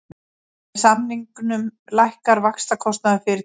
Með samningunum lækkar vaxtakostnaður fyrirtækisins